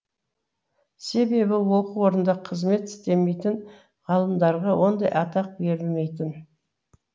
себебі оқу орнында қызмет істемейтін ғалымдарға ондай атақ берілмейтін